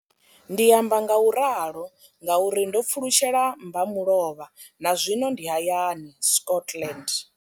Ndi amba ngauralo nga uri ndo pfulutshela mbamulovha na zwino ndi hayani, Scotland.